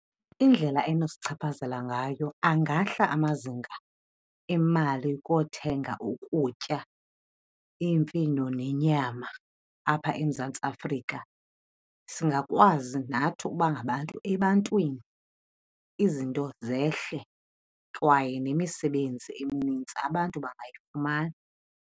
Indlela enosichaphazela ngayo angahla amazinga emali kothenga ukutya, iimfino nenyama apha eMzantsi Afrika. Singakwazi nathi uba ngabantu ebantwini, izinto zehle kwaye nemisebenzi eminintsi abantu bangayifumana.